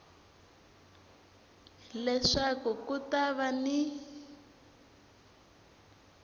leswaku ku ta va ni